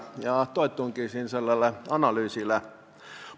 Ma toetungi siin sellele analüüsile.